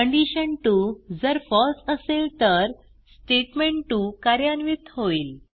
कंडिशन2 जर फळसे असेल तर स्टेटमेंट2 कार्यान्वित होईल